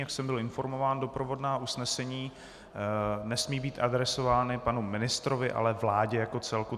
Jak jsem byl informován, doprovodná usnesení nesmí být adresována panu ministrovi, ale vládě jako celku.